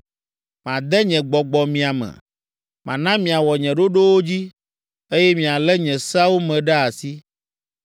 Made nye Gbɔgbɔ mia me, mana miawɔ nye ɖoɖowo dzi, eye mialé nye seawo me ɖe asi.